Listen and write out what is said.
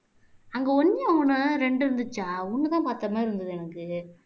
அங்க ஒண்ணும் ரெண்டு இருந்துச்சா ஒண்ணுதான் பார்த்த மாதிரி இருந்தது எனக்கு